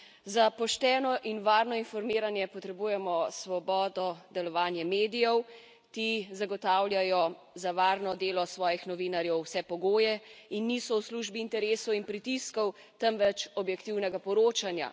Za pošteno in varno informiranje potrebujemo svobodo, delovanje medijev, ti zagotavljajo za varno delo svojih novinarjev vse pogoje in niso v službi interesov in pritiskov, temveč objektivnega poročanja.